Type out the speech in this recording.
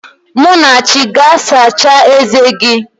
Munachi, gaa sachaa eze gị!